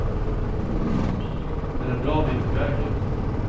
Men en bra bit på väg är man.